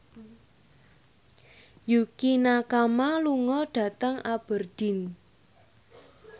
Yukie Nakama lunga dhateng Aberdeen